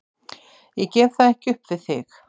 Ég gef það ekki upp við þig.